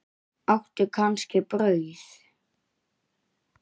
Áttu kannski brauð?